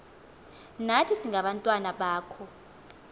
nathi singabantwana bakho